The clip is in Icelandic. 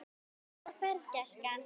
Góða ferð, gæskan!